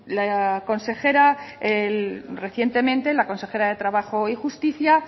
recientemente la consejera de trabajo y justicia